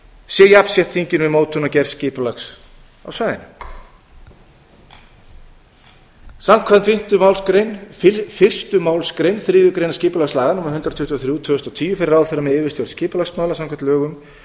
sé jafnsett þinginu við mótun og gerð skipulags á svæðinu samkvæmt fyrstu málsgrein þriðju greinar skipulagslaga númer hundrað tuttugu og þrjú tvö þúsund og tíu fer ráðherra með yfirstjórn skipulagsmála samkvæmt lögunum